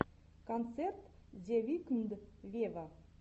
концерт зе викнд вево